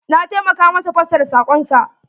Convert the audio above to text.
Na taimaka masa fassara sakon sa.